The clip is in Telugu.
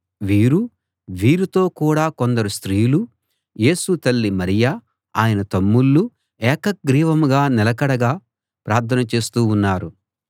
వీరూ వీరితో కూడా కొందరు స్త్రీలూ యేసు తల్లి మరియ ఆయన తమ్ముళ్ళూ ఏకగ్రీవంగా నిలకడగా ప్రార్థన చేస్తూ ఉన్నారు